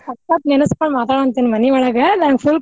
ಸಕತ್ತ್ ನೆನಸ್ಕೊಂಡ್ ಮಾತಾಡೇತೇನಿ ಮನಿಯೊಳಗ ನಂಗ್ full